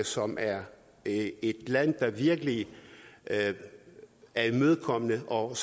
som er et land der virkelig er imødekommende og